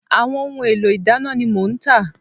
Àwọn ohun èlò ìdáná ni mò ń tà